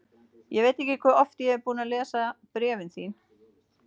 Ég veit ekki hve oft ég er búinn að lesa bréfin þín.